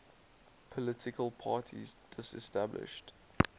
political parties disestablished